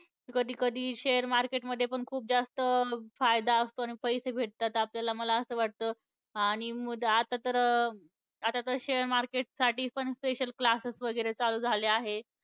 कधी कधी share market मध्ये पण खूप जास्त अं फायदा असतो आणि पैसे भेटतात आपल्याला. मला असं वाटतं. आणि मग आता तर आता तर share market साठी पण special classes वगैरे चालू झाले आहे.